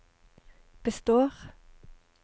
består